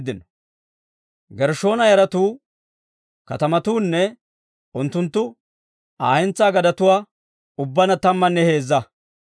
Gershshoona yaratuu katamatuunne unttunttu Aa hentsaa gadetuu ubbaanna tammanne heezza.